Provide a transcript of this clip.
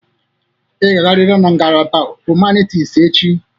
Ị ga-agarịrị na ngalaba hụmanịtis echi!